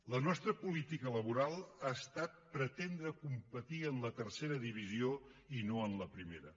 la nostra política laboral ha estat pretendre competir en la tercera divisió i no en la primera